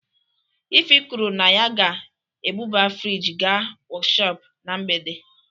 Ify kwuru na ya ga-ebuba friji gaa workhop na mgbede